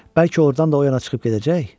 Bəlkə ordan da o yana çıxıb gedəcək?